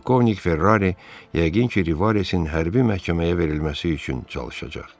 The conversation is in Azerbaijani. Polkovnik Ferrari yəqin ki, Rivaresin hərbi məhkəməyə verilməsi üçün çalışacaq.